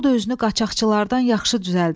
O da özünü qaçaqçılardan yaxşı düzəldib.